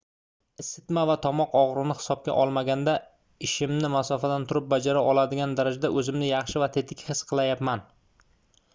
isitma va tomoq ogʻrigʻini hisobga olmaganda ishimni masofadan turib bajara oladigan darajada oʻzimni yaxshi va tetik his qilyapman